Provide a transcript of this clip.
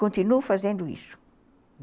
Continuo fazendo isso.